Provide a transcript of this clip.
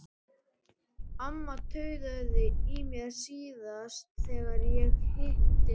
Amma tautaði í mér síðast þegar ég hitti hana.